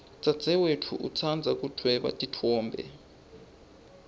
dzadzewetfu utsandza kudvweba titfombe